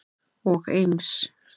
og Eims